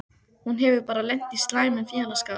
Hún hefur bara lent í slæmum félagsskap.